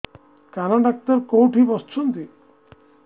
କାନ ଡକ୍ଟର କୋଉଠି ବସୁଛନ୍ତି